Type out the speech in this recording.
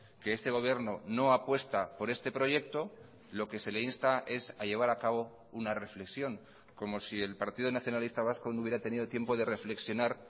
que este gobierno no apuesta por este proyecto lo que se le insta es a llevar a cabo una reflexión como si el partido nacionalista vasco no hubiera tenido tiempo de reflexionar